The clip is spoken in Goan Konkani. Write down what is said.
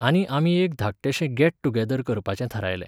आनी आमी एक धाकटेंशें गॅट टुगॅदर करपाचें थारायलें.